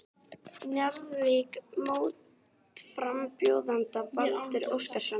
Njarðvík mótframbjóðandann Baldur Óskarsson.